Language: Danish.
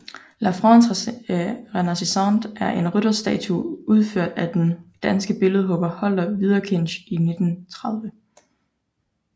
La France renaissante er en rytterstatue udført af den danske billedhugger Holger Wederkinch i 1930